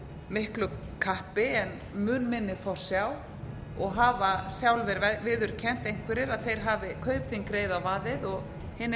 miklu kappi en mun minni forsjá og hafa sjálfir viðurkennt einhverjir að þeir hafi kaupþing reið á vaðið og hinir